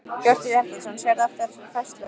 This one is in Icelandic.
Hjörtur Hjartarson: Sérðu eftir þessari færslu?